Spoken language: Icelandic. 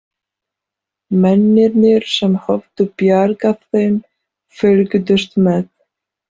Mennirnir sem höfðu bjargað þeim fylgdust með.